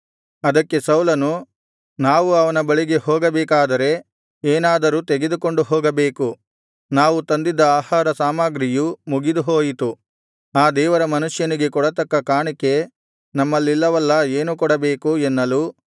ಅದಕ್ಕೆ ಸೌಲನು ನಾವು ಅವನ ಬಳಿಗೆ ಹೋಗಬೇಕಾದರೆ ಏನಾದರೂ ತೆಗೆದುಕೊಂಡು ಹೋಗಬೇಕು ನಾವು ತಂದಿದ್ದ ಆಹಾರಸಾಮಗ್ರಿಯು ಮುಗಿದುಹೋಯಿತು ಆ ದೇವರ ಮನುಷ್ಯನಿಗೆ ಕೊಡತಕ್ಕ ಕಾಣಿಕೆ ನಮ್ಮಲ್ಲಿಲ್ಲವಲ್ಲಾ ಏನು ಕೊಡಬೇಕು ಎನ್ನಲು